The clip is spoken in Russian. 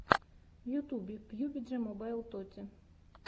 в ютюбе пиюбиджи мобайл тоти